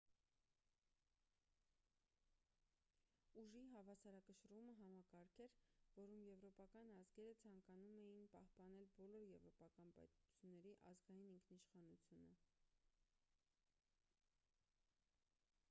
ուժի հավասարակշռումը համակարգ էր որում եվրոպական ազգերը ցանկանում էին պահպանել բոլոր եվրոպական պետությունների ազգային ինքնիշխանությունը